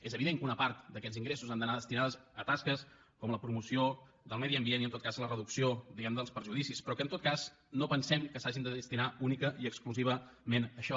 és evident que una part d’aquests ingressos han d’anar destinats a tasques com la promoció del medi ambient i en tot cas la reducció diguemne dels perjudicis però que en tot cas no pensem que s’hagin de destinar únicament i exclusivament a això